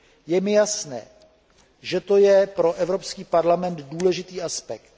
Je mi jasné, že to je pro Evropský parlament důležitý aspekt.